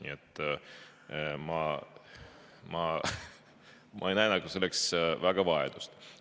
Nii et ma ei näe selleks väga vajadust.